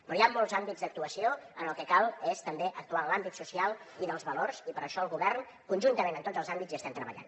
però hi ha molts àmbits d’actuació cal també actuar en l’àmbit social i dels valors i per això el govern conjuntament en tots els àmbits hi estem treballant